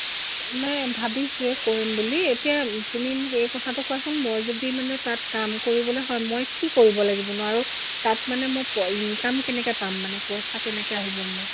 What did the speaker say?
নাই, ভাবিছোয়ে কৰিম বুলি। এতিয়া তুমি মোক এই কথাটো কোৱাচোন মই যদি মানে তাত কাম কৰিবলে হয়, মই কি কৰিব লাগিবনো আৰু তাত মানে মোক income কেনেকে পাম মানে পইচা কেনেকে আহিব মোক?